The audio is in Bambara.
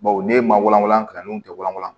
Bawo ne ye ma wɔlɔ kan n'o tɛ wɔlɔ